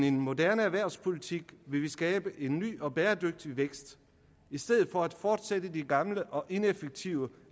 en moderne erhvervspolitik vil vi skabe en ny og bæredygtig vækst i stedet for at fortsætte de gamle og ineffektive